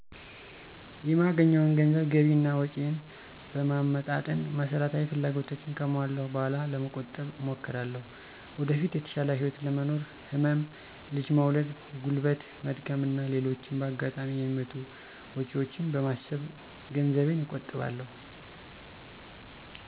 የማገኘውን ገንዘብ ገቢ እና ወጭየን በማመጣጠን መሰረታዊ ፍላጎቶቸን ካሟለው በኋላ ለመቆጠብ እሞክራለሁ። ወደፊት የተሻለ ህይወት ለመኖር፣ ህመም፣ ልጅ መውለድ፣ ጉልበት መድከም እና ሌሎችም በአጋጣሚ የሚመጡ ወጭወችን በማሰብ ገንዘቤን እቆጥባለሁ።